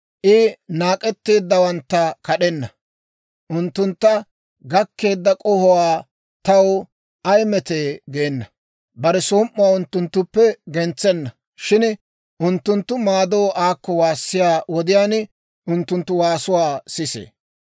I naak'etteeddawantta kad'enna; unttuntta gakkeedda k'ohuwaa taw ay metee geena. Bare som"uwaa unttunttuppe gentsenna; shin unttunttu maadoo aakko waassiyaa wodiyaan, unttunttu waasuwaa sisee.